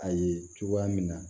A ye cogoya min na